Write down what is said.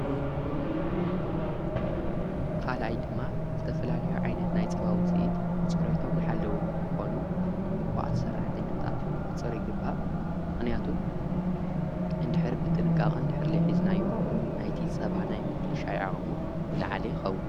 ኻልኣይ ድማ ዝተፈላለዮ ዓይነት ናይ ጸባ ውፅኢት ፅርይቶም ለዝሓለዉ ን ክኾኑ ጥንቁቋት ስራሕተኛታት ኽንቖጽር ይግባእ። ምኽንያቱን እንድሕር ብጥንቃቕ እንድሕር ዘይሕዝናዮ ናይቲ ጸባ ናይ ምብልሻው ዓቐሞ ዝለዓለ ይኸውን።